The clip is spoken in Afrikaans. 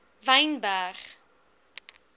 wynberg